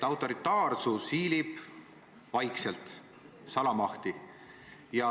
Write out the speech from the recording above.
Autoritaarsus hiilib ligi vaikselt, salamahti.